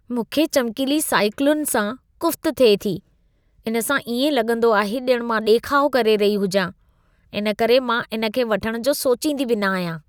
मूंखे चमकीली साइकिलुनि सां कुफ़्त थिए थी। इन सां इएं लॻंदो आहे ॼण मां ॾेखाउ करे रही हुजां। इन करे मां इन खे वठणु जो सोचींदी बि न आहियां।